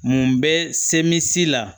Mun bɛ semisi la